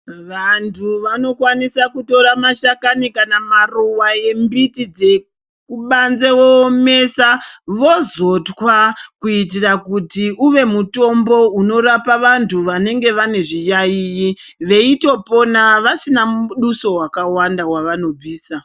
Vantu vanokwanisa kutora mashakani kana maruwa embiti dzekubanze voomesa vozo twa kuitira kuti uve mutombo inorapa vantu vanenge vane zviyaiyi veitopona vasina mudosu wakawanda wavanobvisa.